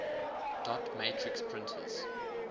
dot matrix printers